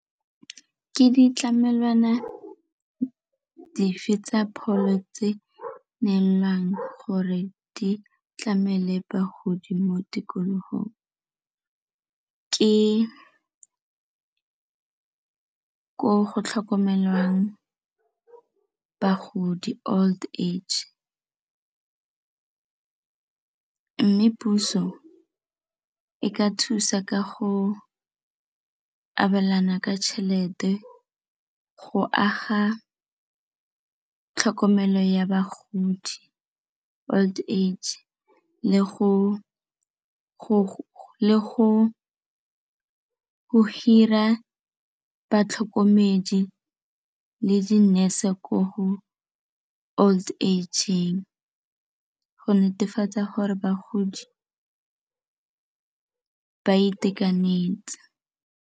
Ke ditlamelwana dife tsa pholo tse neelwang gore di tlamele bagodi mo tikologong? Ke ke ko go tlhokomelwang bagodi old age mme puso e ka thusa ka go abelana ka tšhelete go aga tlhokomelo ya bagodi old age le go go hira batlhokomedi le di-nurse-e gore ko old age-eng go netefatsa gore bagodi ba itekanetse.